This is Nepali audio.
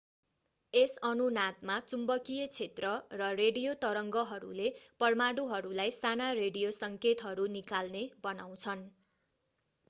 यस अनुनादमा चुम्बकीय क्षेत्र र रेडियो तरङ्गहरूले परमाणुहरूलाई साना रेडियो सङ्केतहरू निकाल्ने बनाउँछन्